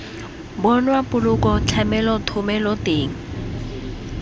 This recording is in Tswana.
bonwa poloko tlamelo thomelo teng